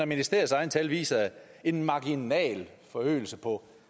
ministeriets egne tal viser jo en marginal forøgelse på